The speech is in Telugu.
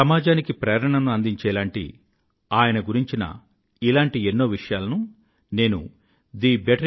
సమాజానికి ప్రేరణ ను అందించేలాంటి ఆయన గురించిన ఇలాంటి ఎన్నో విషయలను నేను thebetterindia